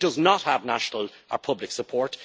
It does not have national public support.